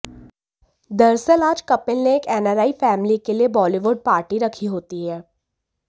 दरअसल आज कपिल ने एक एनआरआई फैमली के लिए बॉलिवुड पार्टी रखी होती है